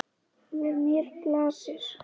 Við mér blasir.